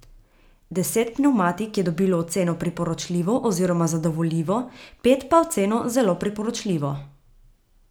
Deset pnevmatik je dobilo oceno priporočljivo oziroma zadovoljivo, pet pa oceno zelo priporočljivo.